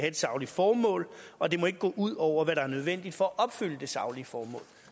et sagligt formål og det må ikke gå ud over hvad der er nødvendigt for at opfylde det saglige formål